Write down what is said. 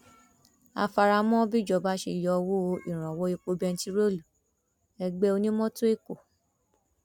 a fara mọ bíjọba ṣe yọwọ ìrànwọ epo bẹntiróòlù ẹgbẹ onímọtò ẹkọ